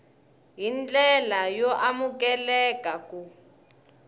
hi ndlela yo amukeleka ku